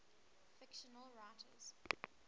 fictional writers